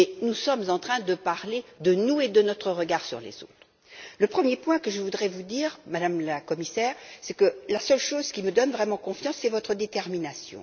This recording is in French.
nous sommes en train de parler de nous et de notre regard sur les autres. La première chose que je voudrais vous dire, Madame la Commissaire, est que la seule chose qui me rende confiante, c'est votre détermination.